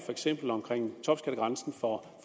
omkring topskattegrænsen for